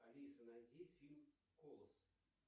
алиса найди фильм колос